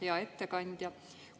Hea ettekandja!